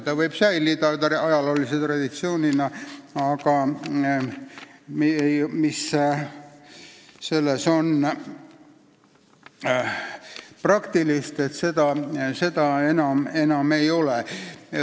See võib säilida ajaloolise traditsioonina, aga midagi praktilist selles enam ei ole.